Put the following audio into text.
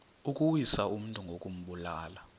ukuwisa umntu ngokumbulala